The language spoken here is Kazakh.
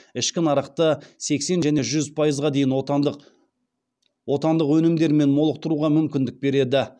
ішкі нарықты сексен және жүз пайызға дейін отандық өнімдермен молықтыруға мүмкіндік береді